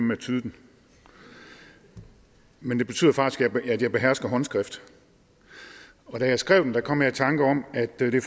med at tyde den men det betyder faktisk at jeg behersker håndskrift og da jeg skrev den kom jeg i tanke om at det